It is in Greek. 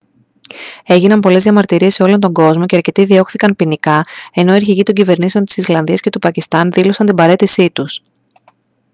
έγιναν πολλές διαμαρτυρίες σε όλο τον κόσμο και αρκετοί διώχθηκαν ποινικά ενώ οι αρχηγοί των κυβερνήσεων της ισλανδίας και του πακιστάν δήλωσαν την παραίτησή τους